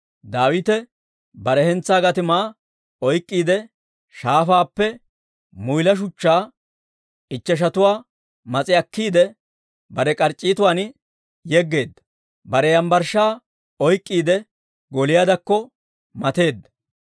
Daawite bare hentsaa gatimaa oyk'k'iide, shaafaappe muyla shuchchaa ichcheshatuwaa mas'i akkiide, bare k'arc'c'iituwan yeggeedda; bare yambbarshshaa oyk'k'iide, Gooliyaadekko mateedda.